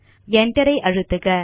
Enter ஐ அழுத்துக